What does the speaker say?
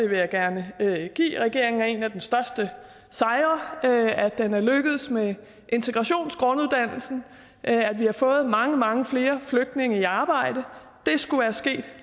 vil gerne give regeringen at en af dens største sejre er at den er lykkedes med integrationsgrunduddannelsen at vi har fået mange mange flere flygtninge i arbejde det skulle være sket